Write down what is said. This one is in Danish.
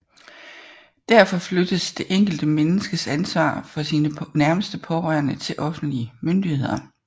Derfor flyttes det enkelte menneskes ansvar for sine nærmeste pårørende til offentlige myndigheder